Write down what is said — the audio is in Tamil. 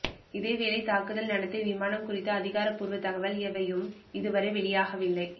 இதேவேளை தாக்குதல் நடத்திய விமானம் குறித்த அதிகாரப்பூர்வ தகவல் எவையும் இதுவரை வெளியாகவில்லை